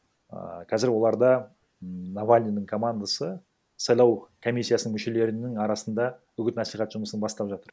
ііі қазір оларда ммм навальныйдың командасы сайлау комиссиясының мүшелерінің арасында үгіт насихат жұмысын бастап жатыр